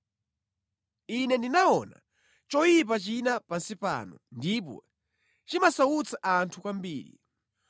Ine ndinaona choyipa china pansi pano, ndipo chimasautsa anthu kwambiri: